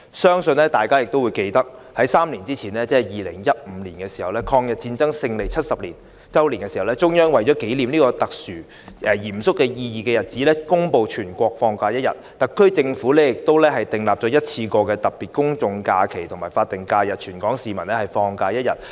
相信大家也記得，在3年前，即2015年，抗日戰爭勝利70周年時，中央為了紀念這個具特殊及嚴肅意義的日子，公布全國放假1天，而特區政府亦訂立了一次性的特別公眾假期及法定假日，讓全港市民放假1天。